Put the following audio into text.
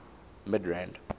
midrand